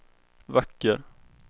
vacker